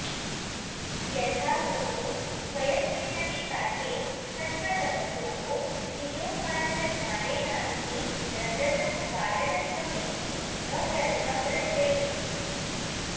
यथाहुः उभयस्मिन्नपि कार्ये सत्त्वतमसोः क्रियोत्पादनद्वारेणास्ति रजसः कारणत्वमिति न व्यर्थं रज इति